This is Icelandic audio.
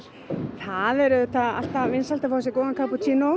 það er auðvitað vinsælt að fá sér góðan